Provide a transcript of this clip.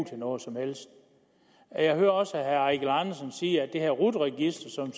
til noget som helst jeg hører også herre eigil andersen sige at det her rut register som